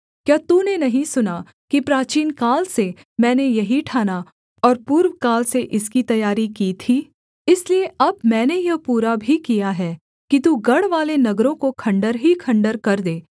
क्या तूने नहीं सुना कि प्राचीनकाल से मैंने यही ठाना और पूर्वकाल से इसकी तैयारी की थी इसलिए अब मैंने यह पूरा भी किया है कि तू गढ़वाले नगरों को खण्डहर ही खण्डहर कर दे